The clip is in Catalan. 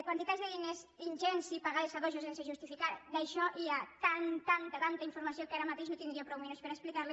quantitats de diners ingents i pagades a dojo sens justificar d’això hi ha tanta tanta informació que ara mateix no tindria prou minuts per a explicar les